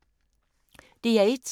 DR1